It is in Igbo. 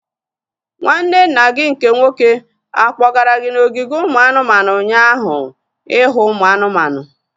Nwanne nna gị nke nwoke akpọgara gị n'ogige ụmụ anụmanụ ụnyaahụ ihu ụmụ anụmanụ?